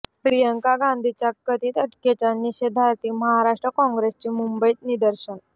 प्रियंका गांधींच्या कथित अटकेच्या निषेधार्थ महाराष्ट्र काँग्रेसची मुंबईत निदर्शनं